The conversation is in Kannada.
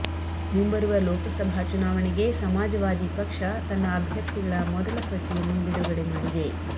ಮುಂಬರುವ ಲೋಕಸಭಾ ಚುನಾವಣೆಗೆ ಸಮಾಜವಾದಿ ಪಕ್ಷ ತನ್ನ ಅಭ್ಯರ್ಥಿಗಳ ಮೊದಲ ಪಟ್ಟಿಯನ್ನು ಬಿಡುಗಡೆ ಮಾಡಿದೆ